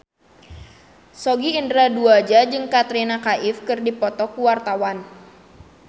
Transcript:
Sogi Indra Duaja jeung Katrina Kaif keur dipoto ku wartawan